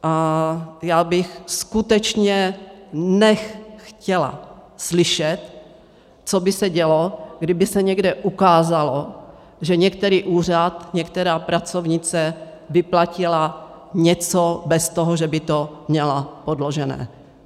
A já bych skutečně chtěla slyšet, co by se dělo, kdyby se někde ukázalo, že některý úřad, některá pracovnice vyplatila něco bez toho, že by to měla podložené.